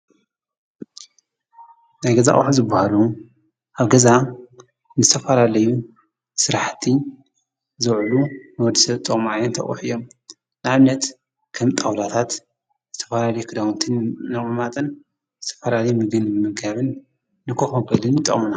ናይገዛ አቁሕ ዝብሃሩ ኣብ ገዛ ንዝተፋላለዩ ሥራሕቲ ዘውዕሉ መወድሰት ተምዓዮ ተዉሕ እዮም። ንዓብነት ከም ጠውላታት ንተፈላለይ ክዳውንትን ነቝማጠን ንተፈራለይ ምግን ምገብን ንኮፎበልን ይጠምና።